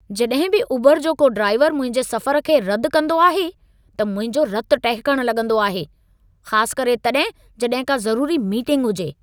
जॾहिं बि ऊबर जो को ड्राइवर मुंहिंजे सफ़र खे रदि कंदो आहे, त मुंहिंजो रतु टहिकण लॻंदो आहे। ख़ासु करे तॾहिं, जॾहिं का ज़रूरी मीटिंग हुजे।